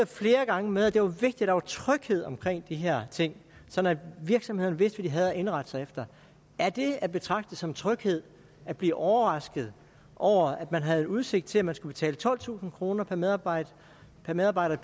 flere gange med at det var vigtigt at der var tryghed omkring de her ting sådan at virksomhederne vidste hvad de havde at indrette sig efter er det at betragte som tryghed at blive overrasket over at man havde udsigt til at skulle betale tolvtusind kroner per medarbejder per medarbejder